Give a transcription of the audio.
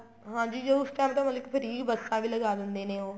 ਹਾਂਜੀ ਉਸ time ਤਾਂ ਮਤਲਬ ਕੀ free ਬੱਸਾਂ ਵੀ ਲਗਾ ਦਿੰਦੇ ਨੇ ਉਹ